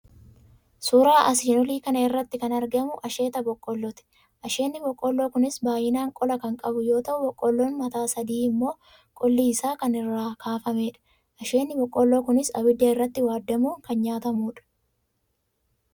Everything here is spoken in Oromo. Suura asiin olii kana irratti kan argamu asheeta boqqoollooti. Asheenni boqqoolloo kunis baay'inaan qola kan qabu yoo ta'u boqqoolloon mataa sadi immoo qolli isaa kan irraa kaafamedha. Asheenni boqqoolloo kunis abidda irratti waaddamuun kan nyaatamudha.